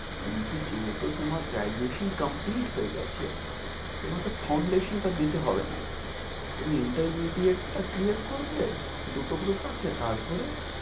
কিন্তু যেহেতু তোমার graduation complete হয়ে গেছে, তোমাকে foundation টা দিতে হবে না। তুমি intermediate টা clear করবে, দুটো group আছে তারপরে।